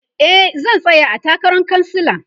e zan tsaya a takaran kansala